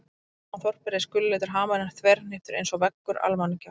Og fyrir ofan þorpið reis gulleitur hamarinn þverhníptur einsog veggur Almannagjár.